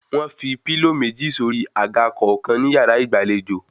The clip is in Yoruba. Wọ́n fi pílò méjì sórí àga kọ̀ọ̀kan ní yàrá ìgbàlejò